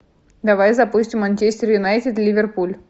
давай запустим манчестер юнайтед ливерпуль